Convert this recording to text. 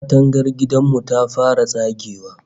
Katangar gidan mu ta fara tsagewa